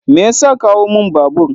Me ya sa ka hau mun babur?